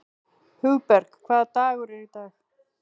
Hugberg, hvaða dagur er í dag?